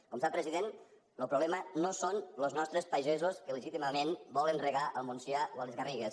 com sap president el problema no són els nostres pagesos que legítimament volen regar al montsià o a les garrigues